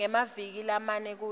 ngemaviki lamane kuya